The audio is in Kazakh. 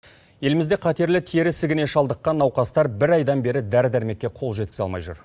елімізде қатерлі тері ісігіне шалдыққан науқастар бір айдан бері дәрі дәрмекке қол жеткізе алмай жүр